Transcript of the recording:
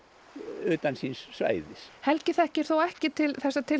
utan síns svæðis helgi þekkir þó ekki til þessa